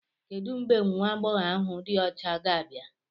Kedu mgbe nwa agbọghọ ahu di ocha ga-abịa?